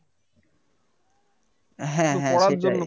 হ্যাঁ হ্যাঁ সেটাই